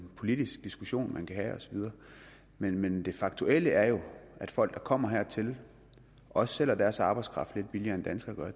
politisk diskussion man kan have osv men men det faktuelle er jo at folk der kommer hertil og sælger deres arbejdskraft lidt billigere end danskere gør